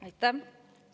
Aitäh!